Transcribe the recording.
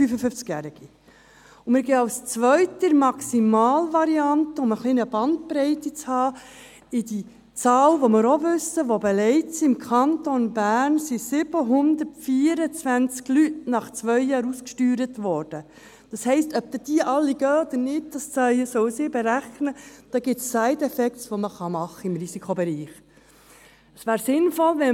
Um eine gewisse Bandbreite zu erhalten, nehmen wir als zweite Maximalvariante die ebenfalls bekannte Zahl, wonach im Kanton Bern bereits 724 Leute nach zwei Jahren ausgesteuert wurden – das heisst, die Experten sollen berechnen, ob die Ausgesteuerten dann alle gehen oder nicht Im Risikobereich gibt es Side Effects, die man machen kann.